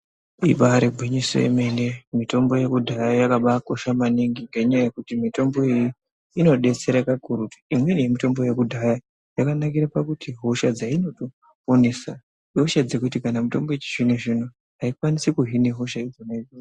Ibaari gwinyiso yemene mitombo yekudhaya yakabaanaka maningi ngendaa yekuti mitombo iyoyo inobaadetsera kakurutu ngendaa yekuti imweni yemitombo iyoyo hosha dzainoponesa ihosha dzekuti kana mitombo yechizvino- zvino aikwanisi kuzvipedza hosha yakona iyoyo.